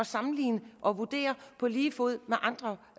sammenlignes med og vurderes på lige fod med andre